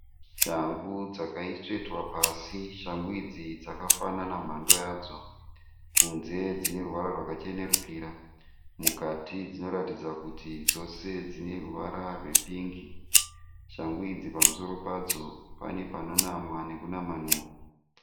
Shangu dzakatsvetwa pasi. Shangu idzi dzakafanana mhando yadzo. Kunze dzine ruvara rwakachenerukira. Mukati dzinoratidza kuti dzose dzine ruvara rwepingi. Shangu idzi pamusoro padzo pane panonamwa nekunamanhurwa.